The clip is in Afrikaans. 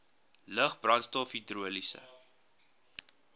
lug brandstof hidroliese